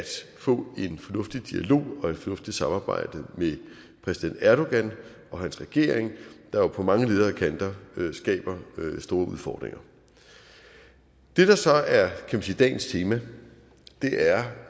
få en fornuftig dialog og et fornuftigt samarbejde med præsident erdogan og hans regering der på mange leder og kanter skaber store udfordringer det der så er dagens tema